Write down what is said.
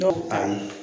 Dɔw ayi